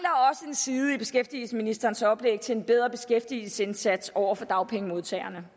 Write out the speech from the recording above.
side i beskæftigelsesministerens oplæg til en bedre beskæftigelsesindsats over for dagpengemodtagerne